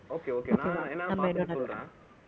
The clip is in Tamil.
okay okay நான் என்னனு பாத்துட்டு சொல்றேன்